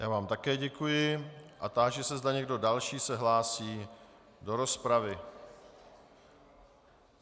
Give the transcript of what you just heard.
Já vám také děkuji a táži se, zda někdo další se hlásí do rozpravy.